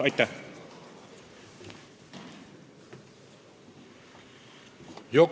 Aitäh!